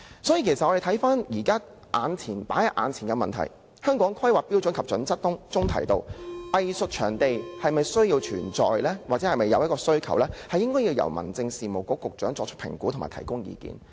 所以，放在眼前的問題是，《香港規劃標準與準則》訂明，是否需要有藝術場地，須由民政事務局局長作出評估及提供意見。